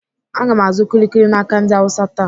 Aga m azụ kuli kuli n'aka ndị Awụsa taa.